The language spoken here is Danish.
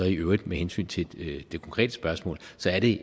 i øvrigt med hensyn til det konkrete spørgsmål er det